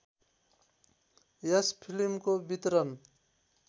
यस फिल्मको वितरण